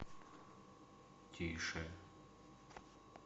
тише